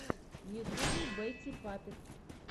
в ютюбе бэтти паппет